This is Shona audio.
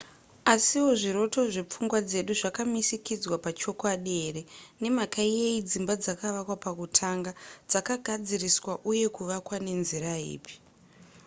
asiwo zviroto zvepfungwa dzedu zvakamisikidzwa pachokwadi here? nemhaka yeyi dzimba dzakavakwa pakutanga? dzakagadziriswa uye kuvakwa nenzira ipi ?